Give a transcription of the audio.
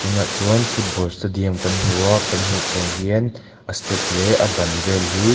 tûnah chuan football stadium kan hmu a kan hmuh theih ang hian a step leh a ban vêl hi--